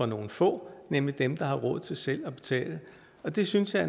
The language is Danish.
nogle få nemlig dem der har råd til selv at betale det synes jeg